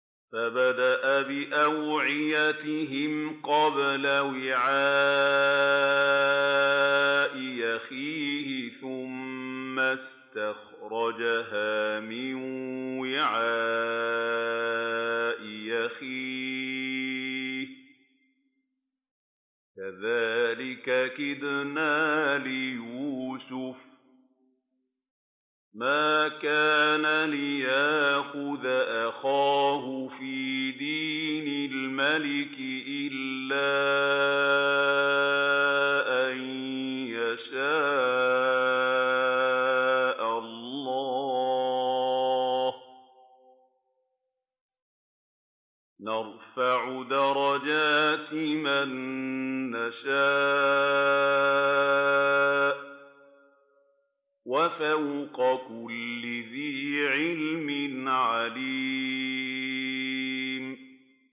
فَبَدَأَ بِأَوْعِيَتِهِمْ قَبْلَ وِعَاءِ أَخِيهِ ثُمَّ اسْتَخْرَجَهَا مِن وِعَاءِ أَخِيهِ ۚ كَذَٰلِكَ كِدْنَا لِيُوسُفَ ۖ مَا كَانَ لِيَأْخُذَ أَخَاهُ فِي دِينِ الْمَلِكِ إِلَّا أَن يَشَاءَ اللَّهُ ۚ نَرْفَعُ دَرَجَاتٍ مَّن نَّشَاءُ ۗ وَفَوْقَ كُلِّ ذِي عِلْمٍ عَلِيمٌ